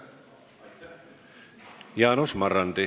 Jaanus Marrandi.